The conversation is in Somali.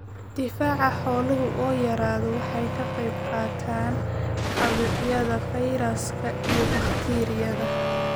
Difaaca xooluhu oo yaraada waxay ka qaybqaataan caabuqyada fayraska iyo bakteeriyada.